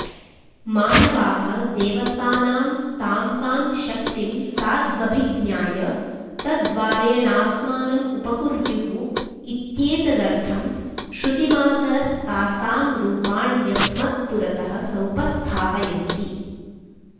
मानवाः देवतानां तां तां शक्तिं साध्वभिज्ञाय तद्द्वारेणात्मानम् उपकुर्युः इत्येतदर्थं श्रुतिमातरस्तासां रूपाण्यस्मत्पुरः समुपस्थापयन्ति